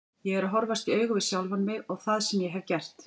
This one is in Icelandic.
Ég er að horfast í augu við sjálfan mig og það sem ég hef gert.